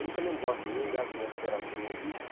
Ele também gosta de mim, ele acha minha literatura um lixo.